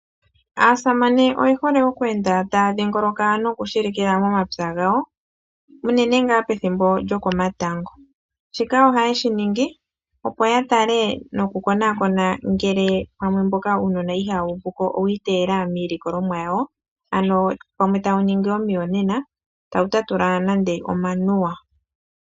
Aasamane oye hole okweenda taya dhingoloka nokushilikila momapya gawo. Uunene tuu pethimbo lyokomatango, shika ohaye shi ningi opo ya tale nokukonakona ngele pamwe uunona mboka ihawu uvuko owi iteyela miilikolomwa yawo, ano pamwe tawu ningi omiyonena tawu tatula nande omanuwa.